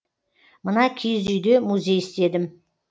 мына киіз үйде музей істедім